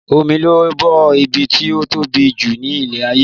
Omi ló bo ibi tí ó tóbi jù ní ilẹ̀ ayé